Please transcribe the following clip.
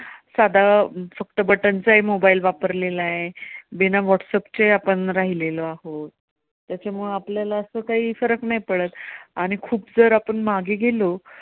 साधा फक्त button चाही mobile वापरलेला आहे, बिना व्हाट्सएप चे आपण राहिलेलो आहोत. त्याच्यामुळे आपल्याला असं काही फरक नाही पडत आणि खूप जर आपण मागे गेलो.